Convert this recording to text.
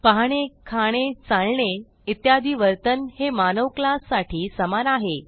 पाहणे खाणे चालणे इत्यादी वर्तन हे मानव क्लास साठी समान आहे